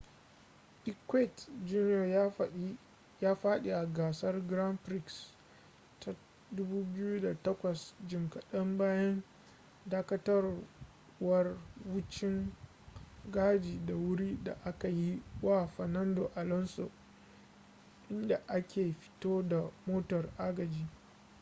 piquet jr ya fadi a gasar grand prix ta 2008 jim kadan bayan dakatawar wucin-gadi ta wuri da aka yi wa fernando alonso inda ake fito da motar agaji